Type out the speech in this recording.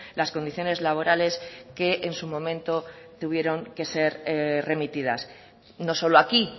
las condiciones laborales que en su momento tuvieron que ser remitidas no solo aquí